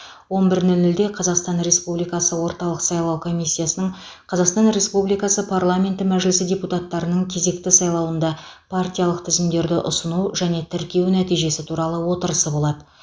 он бір нөл нөлде қазақстан республикасы орталық сайлау комиссиясының қазақстан республикасы парламенті мәжілісі депутаттарының кезекті сайлауында партиялық тізімдерді ұсыну және тіркеу нәтижесі туралы отырысы болады